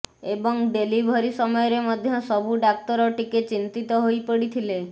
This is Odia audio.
ଏବଂ ଡେଲିଭରି ସମୟରେ ମଧ୍ୟ ସବୁ ଡାକ୍ତର ଟିକେ ଚିନ୍ତିତ ହୋଇପଡିଥିଲେ